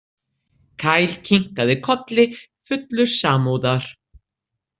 Kyle kinkaði kolli fullur samúðar.